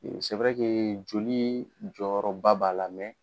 Joli sɛ bɛ kee joli jɔyɔrɔba b'a la